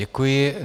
Děkuji.